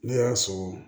Ne y'a sɔrɔ